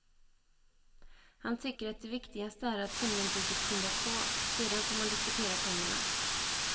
Han tycker att det viktigaste är att tunnelbygget skyndas på, sedan får man diskutera pengarna.